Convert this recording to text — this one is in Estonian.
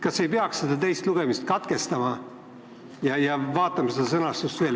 Kas ei peaks teist lugemist katkestama ja seda sõnastust veel vaatama?